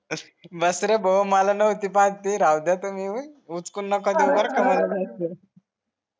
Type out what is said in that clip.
बस रे भो मला नव्हती पाहत ती राहू द्या तुम्ही हुसकून नका देऊ बरका तुम्ही